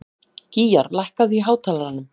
Gýgjar, lækkaðu í hátalaranum.